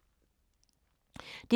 DR1